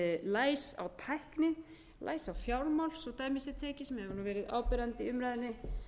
læs á tækni læs á fjármála svo dæmi tekið sem hefur verið áberandi í umræðunni